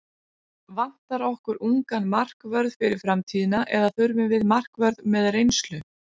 Vantar okkur ungan markvörð fyrir framtíðina eða þurfum við markvörð með reynslu?